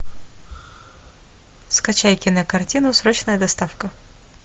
скачай кинокартину срочная доставка